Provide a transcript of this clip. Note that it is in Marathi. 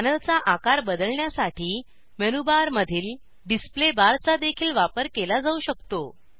पॅनलचा आकार बदलण्यासाठी मेनू बारमधील डिसप्ले बारचा देखील वापर केला जाऊ शकतो